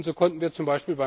So konnten wir z.